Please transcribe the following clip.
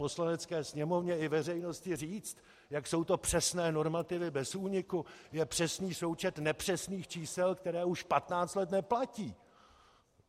Poslanecké sněmovně i veřejnosti říct, jak jsou to přesné normativy bez úniku, je přesný součet nepřesných čísel, která už 15 let neplatí.